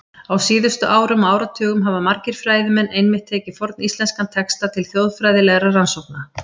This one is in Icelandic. Á síðustu árum og áratugum hafa margir fræðimenn einmitt tekið forníslenska texta til þjóðfræðilegra rannsókna.